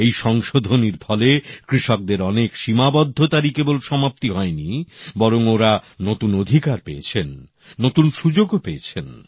এই সংশোধনীর ফলে কৃষকদের অনেক সীমাবদ্ধতারই কেবল সমাপ্তি হয়নি বরং ওঁরা নতুন অধিকার পেয়েছেন নতুন সুযোগও পেয়েছেন